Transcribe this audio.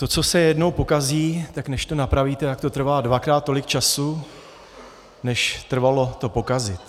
To, co se jednou pokazí, tak než to napravíte, tak to trvá dvakrát tolik času, než trvalo to pokazit.